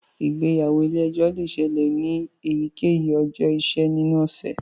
Ìgbéyàwó ilè ejó le ṣẹlẹ ní eyikeyi ọjọ iṣẹ ninu ọsẹ.